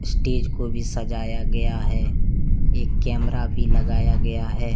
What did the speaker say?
Stage को भी सजाया गया है एक कैमरा भी लगाया गया है।